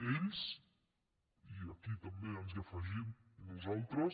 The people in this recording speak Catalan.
ells i aquí també ens afegim nosaltres